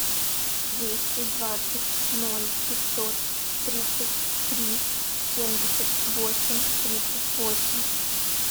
двести двадцать ноль пятьсот тридцать три семьдесят восемь тридцать восемь